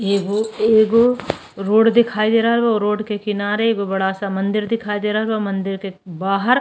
एगो एगो रोड दिखाई दे रहल बा। रोड के किनारे एगो बड़ा सा मंदिर दिखाई दे रहल बा। मंदिर के बाहर --